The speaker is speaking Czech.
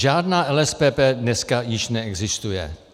Žádná LSPP dneska již neexistuje.